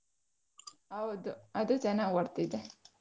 ಹೌದು ಅದು ಚೆನ್ನಾಗಿ ಓಡ್ತಿದೆ